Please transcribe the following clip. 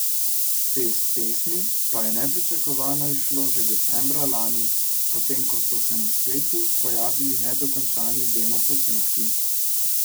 Šest pesmi pa je nepričakovano izšlo že decembra lani, potem ko so se na spletu pojavili nedokončani demoposnetki.